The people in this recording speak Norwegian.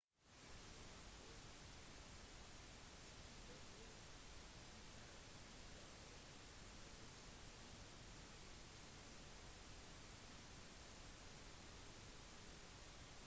vær forsiktig småbybarer her er ikke alltid de beste stedene for besøkende fra andre stater å gå ut på